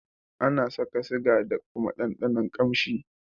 Ana saka siga da kuma ɗanɗanon kamshi.